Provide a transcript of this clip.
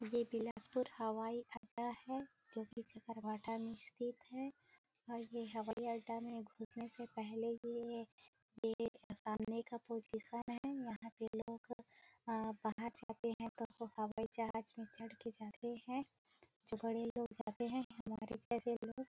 ये बिलासपुर हवाई अड्डा है जो की चकरभाठा में स्थित है और ये हवाई अड्डा में घुसने से पहले ही यह ये सामने का प्रोसेशन है यहाँ पे लोग बाहर जाते है तो हवाई जहाज में चढ़ के जाते है जो बड़े लोग जाते है।